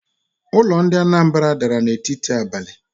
Ulo di na Anambra dara n'etiti abali